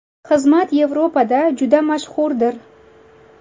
Xizmat Yevropada juda mashhurdir.